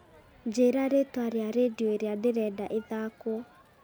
njĩĩra rĩtwa rĩa rĩndiũ ĩrĩa ndĩrenda ĩthaakwo